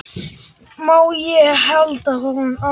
Má ég halda á honum?